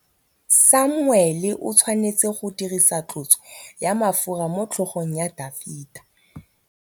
Samuele o tshwanetse go dirisa tlotsô ya mafura motlhôgong ya Dafita.